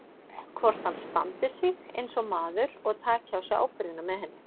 Hvort hann standi sig eins og maður og taki á sig ábyrgðina með henni.